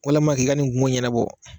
Salam i ka ni kungo ɲɛnabɔ.